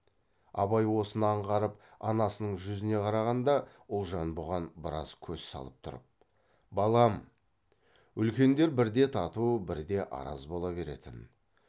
абай осыны аңғарып анасының жүзіне қарағанда ұлжан бұған біраз көз салып тұрып балам үлкендер бірде тату бірде араз бола беретін